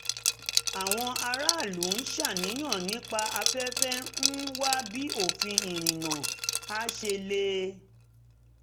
àwọn aráàlú ń ṣàníyàn nípa afẹ́fẹ́ ń wá bí òfin ìrìnnà á ṣe le